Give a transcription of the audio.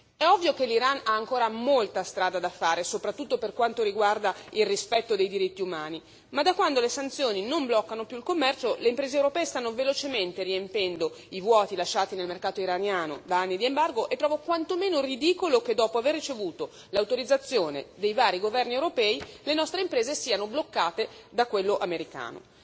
È ovvio che l'Iran ha ancora molta strada da fare, soprattutto per quanto riguarda il rispetto dei diritti umani, ma da quando le sanzioni non bloccano più il commercio le imprese europee stanno velocemente riempendo i vuoti lasciati nel mercato iraniano da anni di embargo e trovo quanto meno ridicolo che, dopo aver ricevuto l'autorizzazione dei vari governi europei, le nostre imprese siano bloccate da quello americano.